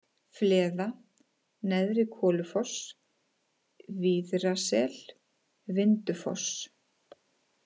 Fleða, Neðri-Kolufoss, Víðrasel, Vindufoss